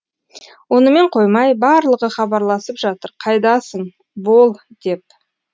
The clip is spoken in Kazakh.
онымен қоймай барлығы хабарласып жатыр қайдасың бол деп